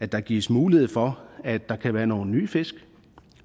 der gives mulighed for at der kan være nogle nye fisk